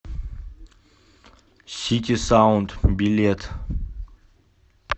ситисаунд билет